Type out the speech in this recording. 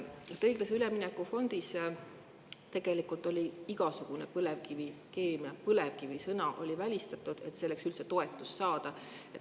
Õiglase ülemineku fondis tegelikult oli igasugune põlevkivikeemia, isegi sõna "põlevkivi" oli välistatud, et üldse toetust saada.